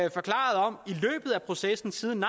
processen siden